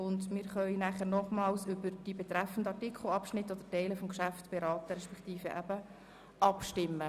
Demzufolge können wir nochmals über betreffende Artikel, Teile oder Abschnitte des Geschäfts beraten beziehungsweise darüber abstimmen.